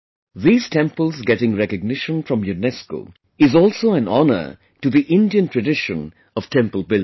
These temples getting recognition from UNESCO is also an honor to the Indian tradition of temple building